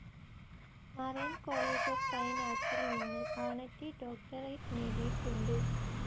Marin college of fine ആർട്സിൽ നിന്ന് honorary doctorate നേടിയിട്ടുണ്ട്.